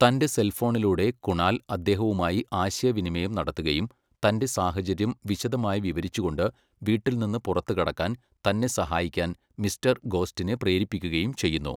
തന്റെ സെൽഫോണിലൂടെ കുണാൽ അദ്ദേഹവുമായി ആശയവിനിമയം നടത്തുകയും തൻ്റെ സാഹചര്യം വിശദമായി വിവരിച്ചുകൊണ്ട് വീട്ടിൽനിന്ന് പുറത്തുകടക്കാൻ തന്നെ സഹായിക്കാൻ മിസ്റ്റർ ഗോസ്റ്റിനെ പ്രേരിപ്പിക്കുകയും ചെയ്യുന്നു.